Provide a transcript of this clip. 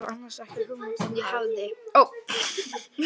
Ég hafði annars ekki hugmynd um að